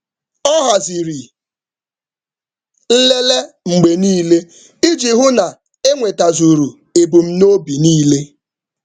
Ọ haziri nlele mgbe niile iji hụ na ebumnuche dị n’ezie.